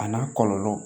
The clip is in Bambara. A n'a kɔlɔlɔ